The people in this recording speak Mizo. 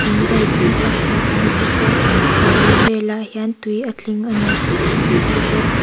thing zei tam tak hmuh a ni bawk a a bul velah hian tui a tling a ni tih kan hmu thei bawk.